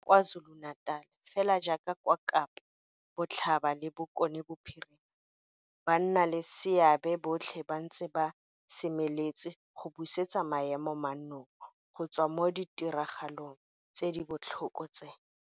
Kwa KwaZuluNatal, fela jaaka kwa Kapa Botlhaba le Bokone Bophirima, bannaleseabe botlhe ba ntse ba semeletse go busetsa maemo mannong go tswa mo ditiragalong tse di botlhoko tse.